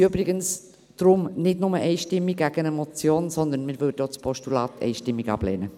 Deshalb lehnen wir nicht nur die Motion einstimmig ab, sondern wir würden auch ein Postulat einstimmig ablehnen.